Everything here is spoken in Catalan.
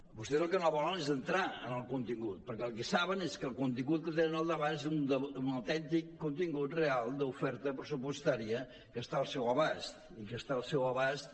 vostès el que no volen és entrar en el contingut perquè el que saben és que el contingut que tenen al davant és un autèntic contingut real d’oferta pressupostària que està al seu abast i que està al seu abast